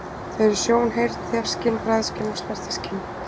Þau eru sjón, heyrn, þefskyn, bragðskyn og snertiskyn.